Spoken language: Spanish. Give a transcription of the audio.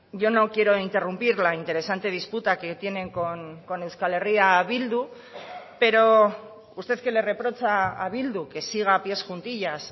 yo no quiero interrumpir la interesante disputa que tienen con euskal herria bildu pero usted que le reprocha a bildu que siga a pies juntillas